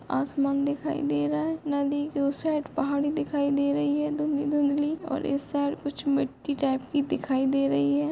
आसमान दिखाई दे रहा है नदी के ओ साइड पहाड़ी दिखाई दे रहे हैं दुधली दुधली और इस बार कुछ मिट्टी टाइप की दिखाई दे रही हैं।